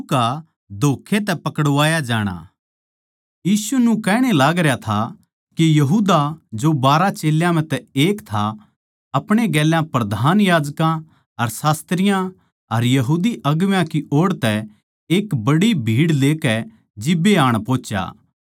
यीशु न्यू कहण ए लागरया था के यहूदा जो बारहा चेल्यां म्ह तै एक था आपणे गेल्या प्रधान याजकां अर शास्त्रियाँ अर यहूदी अगुवां की ओड़ तै एक बड्डी भीड़ लेकै जिब्बे आण पोहुच्या जो तलवार अर लाट्ठी लेरे थे